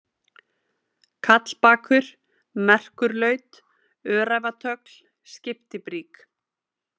Kallbakur, Merkurlaut, Öræfatögl, Skiptibrík